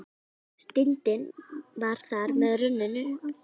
Stundin var þar með runnin upp.